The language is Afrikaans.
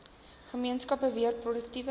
gemeenskappe weer produktiewe